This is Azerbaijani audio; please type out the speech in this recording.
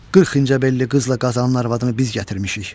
40 incəbelli qızla Qazanın arvadını biz gətirmişik.